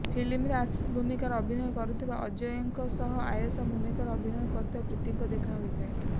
ଫିଲ୍ମରେ ଆଶିଷ ଭୂମିକାରେ ଅଭିନୟ କରୁଥିବା ଅଜୟଙ୍କ ସହ ଆୟେଶା ଭୂମିକାରେ ଅଭିନୟ କରୁଥିବା ପ୍ରୀତିଙ୍କ ଦେଖା ହୋଇଯାଏ